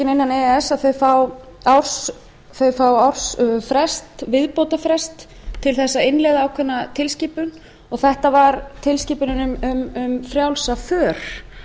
innan e e s fá ársfrest viðbótarfrest til að innleiða ákveðna tilskipun og þetta var tilskipunin um frjálsa för